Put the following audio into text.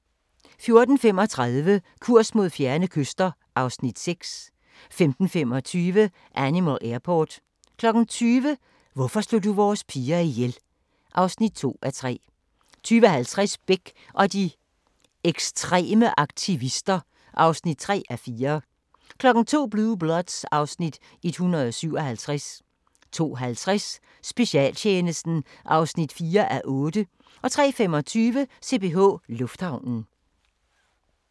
14:35: Kurs mod fjerne kyster (Afs. 6) 15:20: Animal Airport 20:00: Hvorfor slog du vores piger ihjel? (2:3) 20:50: Bech og de ekstreme aktivister (3:4) 02:00: Blue Bloods (Afs. 157) 02:50: Specialtjenesten (4:8) 03:25: CPH Lufthavnen